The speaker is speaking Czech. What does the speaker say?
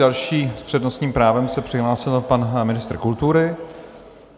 Další s přednostním právem se přihlásil pan ministr kultury.